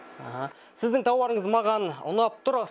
аха сіздің тауарыңыз маған ұнап тұр